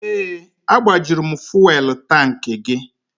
Ee, agbajuru m fuwelụ tankị gị.